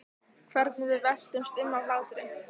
Hvernig við veltumst um af hlátri.